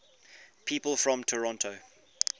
people from toronto